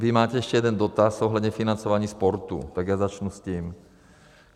Vy máte ještě jeden dotaz ohledně financování sportu, takže já začnu s tím.